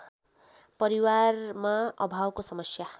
परिवारमा अभावको समस्या